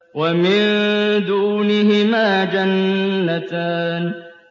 وَمِن دُونِهِمَا جَنَّتَانِ